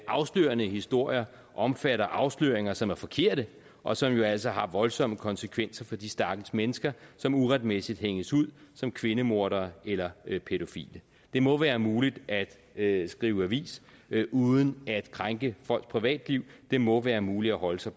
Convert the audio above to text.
afslørende historier omfatter afsløringer som er forkerte og som jo altså har voldsomme konsekvenser for de stakkels mennesker som uretmæssigt hænges ud som kvindemordere eller pædofile det må være muligt at skrive avis uden at krænke folks privatliv det må være muligt at holde sig